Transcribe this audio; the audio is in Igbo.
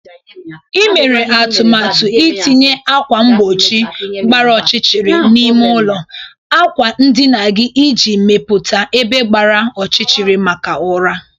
Ị mere atụmatụ itinye ákwà mgbochi gbara ọchịchịrị n'ime ụlọ akwa ndina gị iji mepụta ebe gbara ọchịchịrị maka ụra.